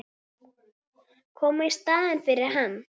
Koma í staðinn fyrir hann.